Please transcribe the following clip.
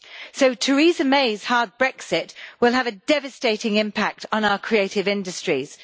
So Theresa May's hard Brexit will have a devastating impact on our creative industries.